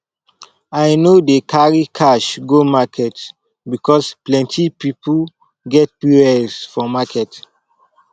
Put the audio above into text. i no dey carry cash go market because plenty pipo get pos for market